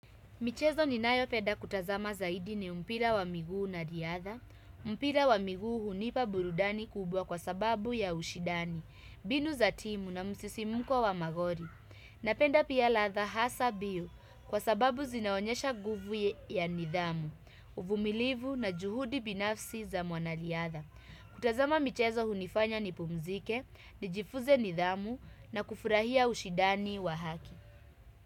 Michezo ni nayo penda kutazama zaidi ni mpira wa miguu na riadha, mpira wa miguu hunipa burudani kubwa kwa sababu ya ushindani, mbinu za timu na msisimko wa magoli. Napenda pia riadha hasa mbio kwa sababu zinaonyesha nguvu ya nidhamu, uvumilivu na juhudi binafsi za mwana riadha. Kutazama michezo hunifanya nipumzike, nijifuze nidhamu na kufurahia ushindani wa haki.